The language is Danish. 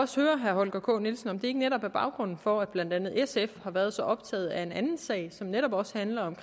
spørge herre holger k nielsen om det ikke netop er baggrunden for at blandt andet sf har været så optaget af en anden sag som netop også handler om